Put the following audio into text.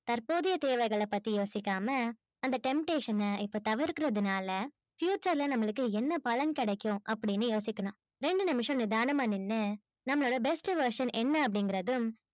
தற்போதைய தேவைகள பத்தி யோசிக்காமா அந்த temptation அ தவிக்குறதுனாலா future ல நம்மளுக்கு என்ன பலன் கிடைக்கும் அப்பிடின்னு யோசிக்குறான் வேண்டுங்க்குற விஷயங்கள நிதானமா நின்னு நம்மளோட best version என்ன அப்பிடிங்குறது